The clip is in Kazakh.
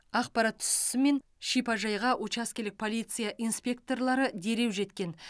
ақпарат түсісімен шипажайға учаскелік полиция инспекторлары дереу жеткен